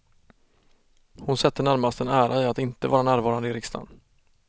Hon sätter närmast en ära i att inte vara närvarande i riksdagen.